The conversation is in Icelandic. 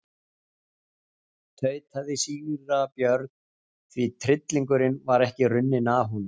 tautaði síra Björn því tryllingurinn var ekki runninn af honum.